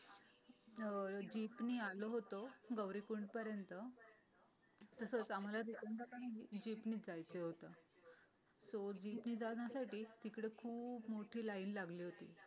अं jeep नि आलो होतो गौरिकुंड पर्यंत तसं आम्हाला पण दुसऱ्यांदा पण जिबनि जायचं होतं सो लाईन जिब नि जाण्यासाठी तिकड खूप मोठी लाईन लागली होती.